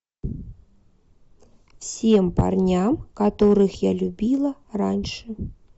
всем парням которых я любила раньше